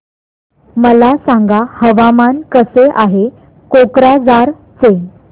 मला सांगा हवामान कसे आहे कोक्राझार चे